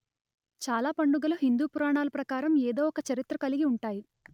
చాలా పండుగలు హిందూ పురాణాల ప్రకారం ఏదో ఒక చరిత్ర కలిగి ఉంటాయి